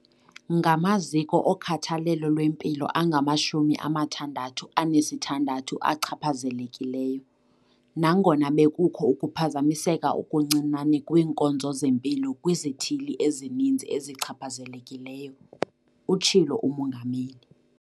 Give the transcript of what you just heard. "Ngamaziko okhathalelo lwempilo angamashumi amathandathu anesithandathu achaphazelekileyo, nangona bekukho ukuphazamiseka okuncinane kwiinkonzo zempilo kwizithili ezininzi ezichaphazelekileyo," utshilo uMongameli.